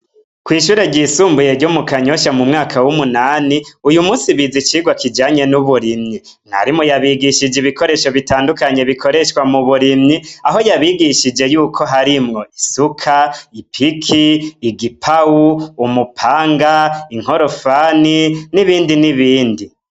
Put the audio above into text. Kw'ishure ryisumbuye ryo mu kanyosha mu mwaka w'umunani uyu musi bizi icirwa kijanye n'uburimyi mwarimu yabigishije ibikoresho bitandukanye bikoreshwa mu burimyi aho yabigishije yuko harimwo isuka ipiki igipawu umupanga inkorofani n'ibindi n'ibindi.